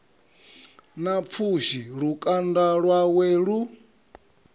na pfushi lukanda lwawe lu